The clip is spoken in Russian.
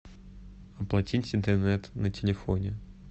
оплатить интернет на телефоне